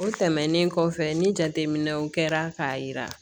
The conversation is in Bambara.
O tɛmɛnen kɔfɛ ni jateminɛw kɛra k'a yira